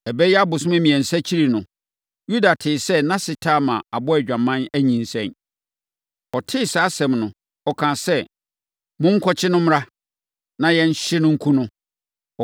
Ɛbɛyɛ abosome mmiɛnsa akyiri no, Yuda tee sɛ nʼase Tamar abɔ adwaman, anyinsɛn. Ɔtee saa asɛm no, ɔkaa sɛ, “Monkɔkye no mmra, na yɛnhye no, nku no.”